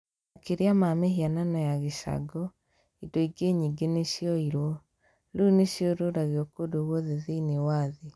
Makĩria ma mĩhianano ya gĩcango, indo ingĩ nyingĩ nĩ cioyirũo. Rĩu nĩ ciorũragio kũndũ guothe thĩinĩ wa thĩ.